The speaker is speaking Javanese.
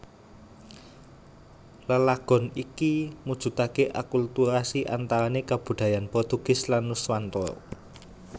Lelagon iki mujudaké akulturasi antarané kabudayan Portugis lan Nuswantara